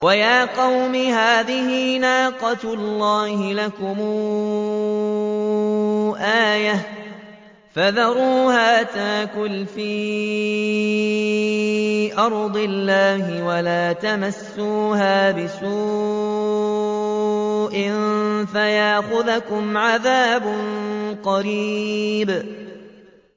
وَيَا قَوْمِ هَٰذِهِ نَاقَةُ اللَّهِ لَكُمْ آيَةً فَذَرُوهَا تَأْكُلْ فِي أَرْضِ اللَّهِ وَلَا تَمَسُّوهَا بِسُوءٍ فَيَأْخُذَكُمْ عَذَابٌ قَرِيبٌ